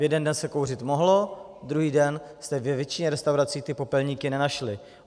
V jeden den se kouřit mohlo, druhý den jste ve většině restaurací ty popelníky nenašli.